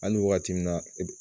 Hali wagati min na